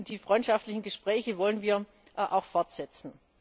Und die freundschaftlichen Gespräche wollen wir auch fortsetzen.